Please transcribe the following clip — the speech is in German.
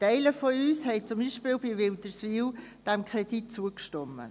Einige von uns haben zum Beispiel dem Kredit für die Umfahrung Wilderswil zugestimmt.